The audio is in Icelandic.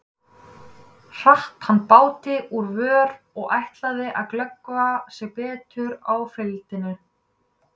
Hratt hann báti úr vör og ætlaði að glöggva sig betur á flygildinu.